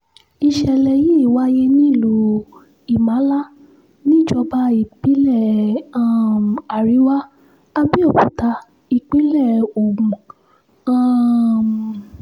ìṣẹ̀lẹ̀ yìí wáyé nílùú imala níjọba ìbílẹ̀ um àríwá àbẹ́òkúta ìpínlẹ̀ ogun um